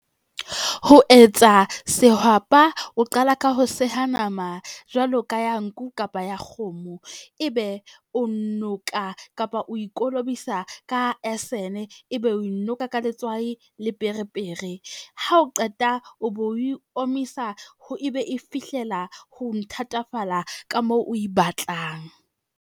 Ho etsa sehwapa o qala ka ho seha nama jwalo ka ya nku kapa ya kgomo. Ebe o noka kapa o e kolobisa ka esene, ebe o e noka ka letswai le pere pere. Ha o qeta o bo o omisa ebe e fihlela ho thatafalla ka moo o e batlang.